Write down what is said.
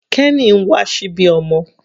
Kenny ń wà síbí ọmọ.